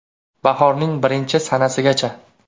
Bahorning birinchi sanasigacha!